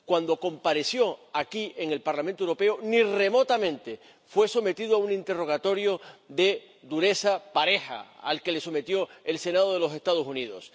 Cuando compareció aquí, en el Parlamento Europeo, ni remotamente fue sometido a un interrogatorio de dureza pareja al que le sometió el Senado de los Estados Unidos.